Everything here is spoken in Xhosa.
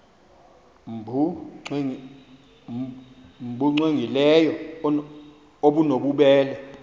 nbu cwengileyo obunobubele